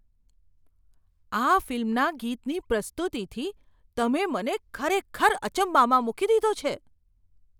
આ ફિલ્મના ગીતની પ્રસ્તુતિથી તમે મને ખરેખર અચંબામાં મૂકી દીધો છે!